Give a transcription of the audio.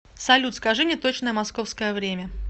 салют скажи мне точное московское время